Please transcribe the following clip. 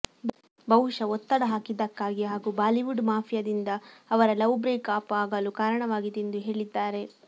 ಬಹುಶಃ ಒತ್ತಡ ಹಾಕಿದ್ದಕ್ಕಾಗಿ ಹಾಗೂ ಬಾಲಿವುಡ್ ಮಾಫಿಯಾದಿಂದ ಅವರ ಲವ್ ಬ್ರೇಕ್ ಅಪ್ ಆಗಲು ಕಾರಣವಾಗಿದೆ ಎಂದು ಹೇಳಿದ್ದಾರೆ